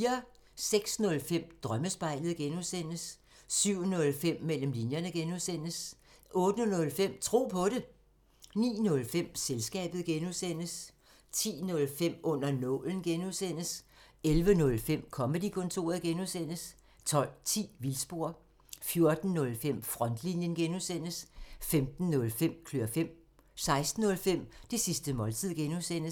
06:05: Drømmespejlet (G) 07:05: Mellem linjerne (G) 08:05: Tro på det 09:05: Selskabet (G) 10:05: Under nålen 11:05: Comedy-kontoret (G) 12:10: Vildspor 14:05: Frontlinjen (G) 15:05: Klør fem 16:05: Det sidste måltid (G)